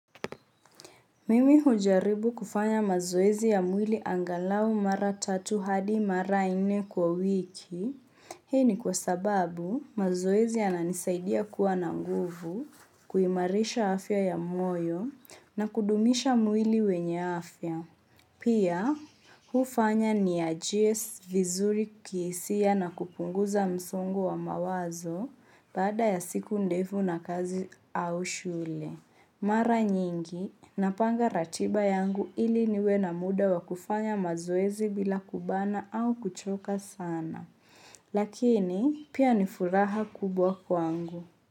Mimi hujaribu kufanya mazoezi ya mwili angalau mara tatu hadi mara nne kwa wiki. Hii ni kwa sababu mazoezi yananisaidia kuwa na nguvu, kuimarisha afya ya moyo na kudumisha mwili wenye afya. Pia hufanya nijihisi vizuri kihisia na kupunguza msongo wa mawazo baada ya siku ndefu na kazi au shule. Mara nyingi, napanga ratiba yangu ili niwe na muda wa kufanya mazoezi bila kubana au kuchoka sana. Lakini, pia ni furaha kubwa kwangu.